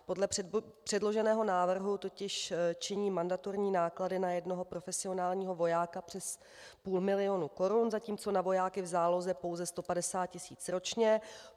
Podle předloženého návrhu totiž činí mandatorní náklady na jednoho profesionálního vojáka přes půl milionu korun, zatímco na vojáky v záloze pouze 150 tisíc ročně.